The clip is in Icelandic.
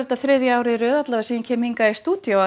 þriðja árið í röð sem ég kem hingað í stúdíó